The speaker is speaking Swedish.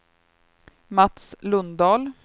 Mats Lundahl